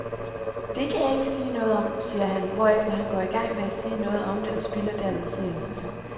Det kan jeg ikke sige noget om, siger han, hvorefter han går i gang med at sige noget om det og spilder derved seernes tid.